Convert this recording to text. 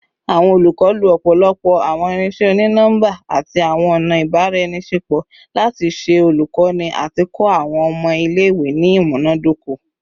Awọn olukọ lo ọpọlọpọ awọn irinṣẹ oni-nọmba ati awọn ọna ibaraenisepo lati ṣe olukoni ati kọ awọn ọmọ ile-iwe ni imunadoko